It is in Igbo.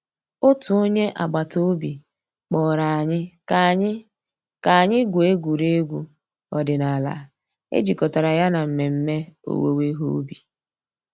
Ọ̀tù ònyè àgbàtà òbì kpọ̀rọ̀ ànyị̀ kà ànyị̀ kà ànyị̀ gụ̀ọ̀ ègwè́ré́gwụ̀ òdìnàlà è jìkọ̀tàrà yà nà mmẹ̀mmẹ̀ òwùwé ìhè ǔbì.